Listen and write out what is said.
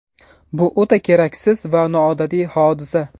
Bu o‘ta keraksiz va noodatiy hodisa.